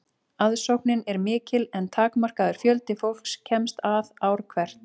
aðsóknin er mikil en takmarkaður fjöldi fólks kemst að ár hvert